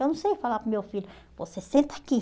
Eu não sei falar para o meu filho, você senta aqui.